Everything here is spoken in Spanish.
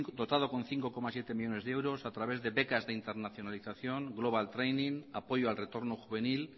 dotado con cinco coma siete millónes de euros se ejecuta a través de becas de internacionalización global training apoyo al retorno juvenil